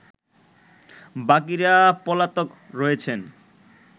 বাকিরা পলাতক রয়েছেন